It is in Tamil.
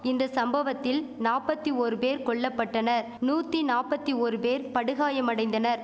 இந்த சம்பவத்தில் நாப்பத்தி ஓரு பேர் கொல்லபட்டனர் நூத்தி நாப்பத்தி ஓரு பேர் படுகாயமடைந்தனர்